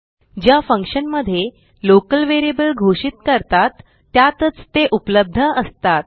ज्या फंक्शनमध्ये local variable घोषित करतात त्यातच ते उपलब्ध असतात